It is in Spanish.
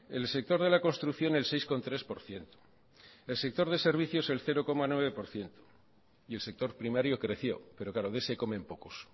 el sector de la construcción el seis coma tres por ciento el sector de servicios el cero coma nueve por ciento y el sector primario creció pero claro de ese comen pocos